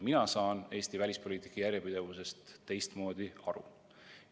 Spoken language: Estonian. Mina saan Eesti välispoliitika järjepidevusest teistmoodi aru.